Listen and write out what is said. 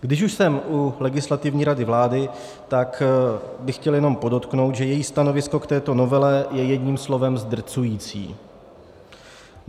Když už jsem u Legislativní rady vlády, tak bych chtěl jenom podotknout, že její stanovisko k této novele je jedním slovem zdrcující.